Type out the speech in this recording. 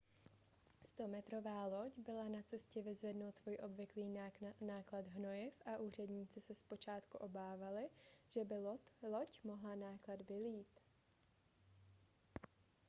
100metrová loď byla na cestě vyzvednout svůj obvyklý náklad hnojiv a úředníci se zpočátku obávali že by loď mohla náklad vylít